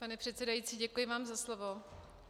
Pane předsedající, děkuji vám za slovo.